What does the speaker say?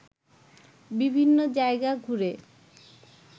বিভিন্ন জায়গা ঘুরে